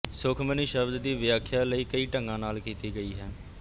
ਸੁਖਮਨੀ ਸ਼ਬਦ ਦੀ ਵਿਆਖਿਆ ਲਈ ਕਈ ਢੰਗਾਂ ਨਾਲ ਕੀਤੀ ਗਈ ਹੈ